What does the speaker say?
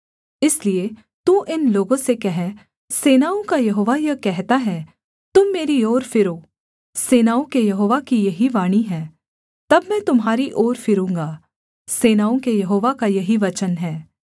इसलिए तू इन लोगों से कह सेनाओं का यहोवा यह कहता है तुम मेरी ओर फिरो सेनाओं के यहोवा की यही वाणी है तब मैं तुम्हारी ओर फिरूँगा सेनाओं के यहोवा का यही वचन है